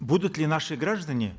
будут ли наши граждане